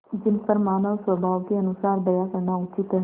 जिन पर मानवस्वभाव के अनुसार दया करना उचित है